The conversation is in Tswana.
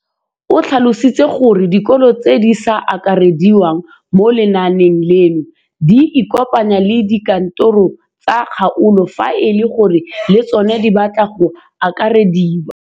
O tlhalositse gore dikolo tse di sa akarediwang mo lenaaneng leno di ikopanye le dikantoro tsa kgaolo fa e le gore le tsona di batla go akarediwa.